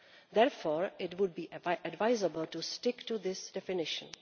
Therefore, it would be advisable to stick to this definition.